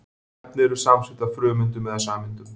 Efni eru samansett af frumeindum eða sameindum.